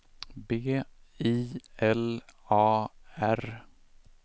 B I L A R